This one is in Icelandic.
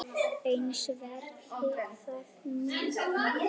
Eins verði það með mig.